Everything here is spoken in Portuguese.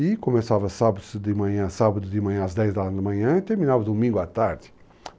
E começava sábado de manhã, sábado de manhã, às dez da manhã e terminava domingo à tarde.